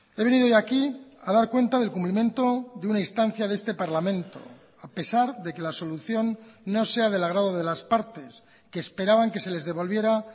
he venido hoy aquí a dar cuenta del cumplimiento de una instancia de este parlamento a pesar de que la solución no sea del agrado de las partes que esperaban que se les devolviera